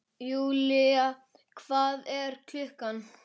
Julia, hvað er klukkan?